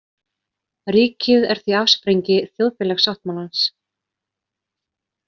Ríkið er því afsprengi þjóðfélagssáttmálans.